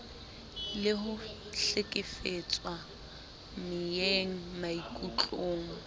le ho hlekefetswa meyeng maikutlong